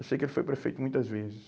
Eu sei que ele foi prefeito muitas vezes.